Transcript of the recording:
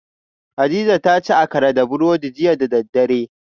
Hadiza ta ci Akara da burodi jiya da daddare